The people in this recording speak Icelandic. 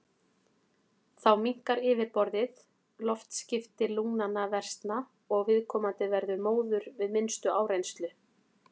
Þá minnkar yfirborðið, loftskipti lungnanna versna og viðkomandi verður móður við minnstu áreynslu.